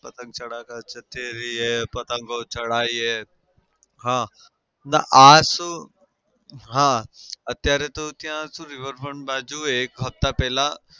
પતંગ પતંગો ચઢાઈએ. હા અને આ શું હા અત્યારે તો ત્યાં શું river front બાજુ એક હપ્તા પહેલાં